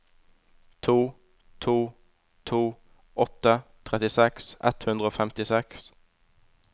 to to to åtte trettiseks ett hundre og femtiseks